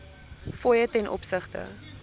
fooie ten opsigte